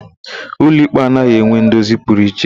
Ụlọikpe anaghị enwe ndozi pụrụ iche.